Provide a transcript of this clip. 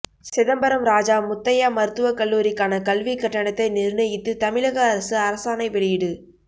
சிதம்பரம் ராஜா முத்தையா மருத்துவ கல்லூரிக்கான கல்விக் கட்டணத்தை நிர்ணயித்து தமிழக அரசு அரசாணை வெளியீடு